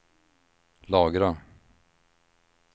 lagra